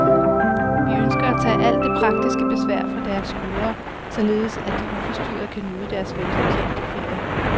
Vi ønsker at tage alt det praktiske besvær fra deres skuldre, således at de uforstyrret kan nyde deres velfortjente ferie.